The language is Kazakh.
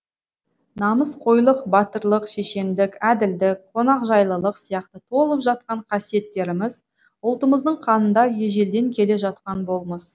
намысқойлық батырлық шешендік әділдік қонақжайлылық сияқты толып жатқан қасиеттеріміз ұлтымыздың қанында ежелден келе жатқан болмыс